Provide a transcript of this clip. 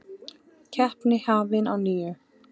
Keppni hafin að nýju